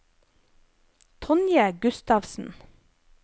Tonje Gustavsen